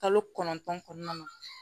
Kalo kɔnɔntɔn kɔnɔna na